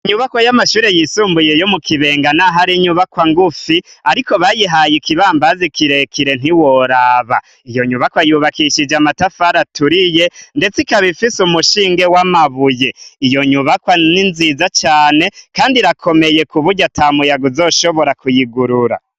Inyubakwa y'amashure yisumbuye yo mu Kibenga n'aho ari inyubakwa ngufi, ariko bayihaye ikibambazi kirekire ntiworaba. Iyo nyubakwa yubakishijwe amatafari aturiye, ndetse ikaba ifise umushinge w'amabuye. Iyo nyubakwa ni nziza cane kandi irakomeye, kuburyo ata muyaga uzoshobora kuyigurura.